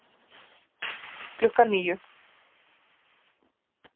Klukkan níu